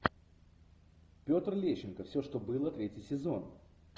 петр лещенко все что было третий сезон